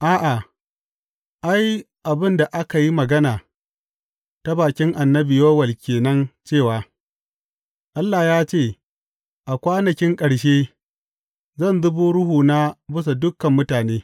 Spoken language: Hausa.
A’a, ai, abin da aka yi magana ta bakin annabi Yowel ke nan cewa, Allah ya ce, A kwanakin ƙarshe, zan zubo Ruhuna bisa dukan mutane.